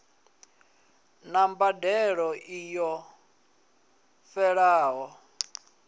na mbadelo i ṱo ḓeaho